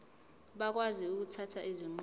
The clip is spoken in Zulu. bakwazi ukuthatha izinqumo